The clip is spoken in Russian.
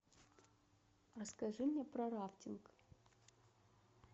расскажи мне про рафтинг